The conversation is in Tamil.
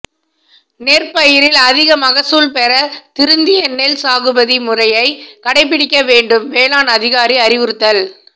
நெற்பயிரில் அதிக மகசூல் பெற திருந்திய நெல் சாகுபடி முறையை கடைபிடிக்க வேண்டும் வேளாண் அதிகாரி அறிவுறுத்தல்